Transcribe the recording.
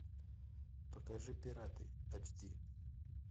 покажи пираты эйч ди